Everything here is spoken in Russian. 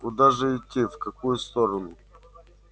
куда же идти в какую сторону